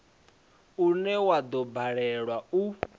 une wa do balelwa u